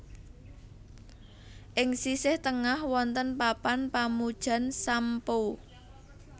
Ing sisih tengah wonten papan pamujan Sam Po